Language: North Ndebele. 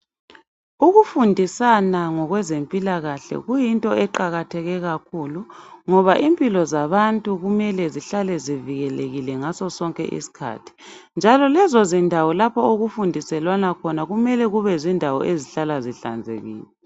Ukufundisana ngokwempilakahle kuyinto eqakatheke kakhulu ngoba impilo zabantu kumele zihlale zivikelekile ngasosonke isikhathi njalo lezozindawo lapho okufundiselwana khona kumele kube zindawo ezihlala zihlanzekile.